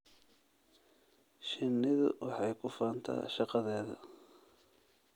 Shinnidu waxay ku faantaa shaqadeeda.